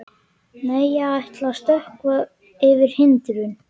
Nei, ég ætla að stökkva yfir hindrun.